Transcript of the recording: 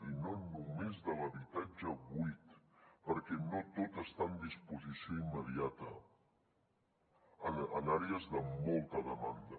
i no només de l’habitatge buit perquè no tot està en disposició immediata en àrees de molta demanda